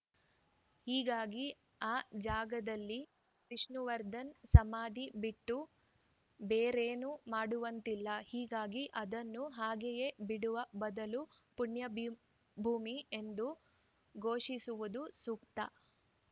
ಹೀಗಾಗಿ ಆ ಜಾಗದಲ್ಲಿ ವಿಷ್ಣುವರ್ಧನ್‌ ಸಮಾಧಿ ಬಿಟ್ಟು ಬೇರೇನೂ ಮಾಡುವಂತಿಲ್ಲ ಹೀಗಾಗಿ ಅದನ್ನು ಹಾಗೆಯೇ ಬಿಡುವ ಬದಲು ಪುಣ್ಯಭೂಮಿ ಎಂದು ಘೋಷಿಸುವುದು ಸೂಕ್ತ